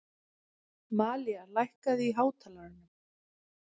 Malía, lækkaðu í hátalaranum.